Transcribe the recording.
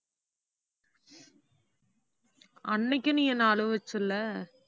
அன்னைக்கு நீ என்னை அழுவச்ச இல்லை